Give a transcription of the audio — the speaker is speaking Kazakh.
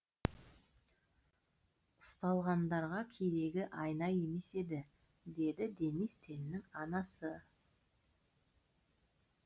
ұсталғандарға керегі айна емес еді деді денис теннің анасы